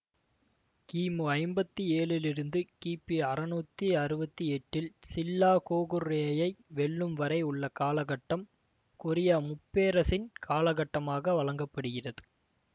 கிமு ஐம்பத்தி ஏழிலிருந்து கிபி அறுநூத்தி அறுவத்தி எட்டில் சில்லா கோகுர்யேயை வெல்லும் வரை உள்ள காலகட்டம் கொரிய முப்பேரசின் காலகட்டமாக வழங்க படுகிறது